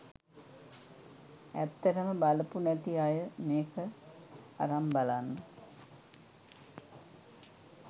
ඇත්තටම බලපු නැති අය මේක අරන් බලන්න.